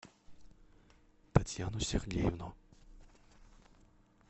татьяну сергеевну